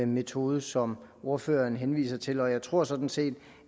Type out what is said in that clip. metode som ordføreren henviser til jeg tror sådan set